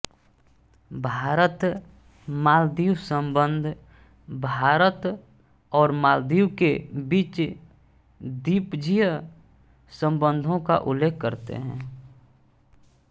भारतमालदीव संबंध भारत और मालदीव के बीच द्विपक्षीय संबंधों का उल्लेख करते हैं